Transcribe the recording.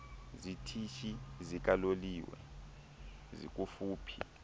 zitishi zikaloliwe zikufuphi